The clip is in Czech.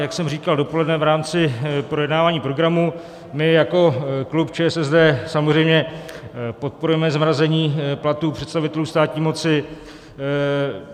Jak jsem říkal dopoledne v rámci projednávání programu, my jako klub ČSSD samozřejmě podporujeme zmrazení platů představitelů státní moci.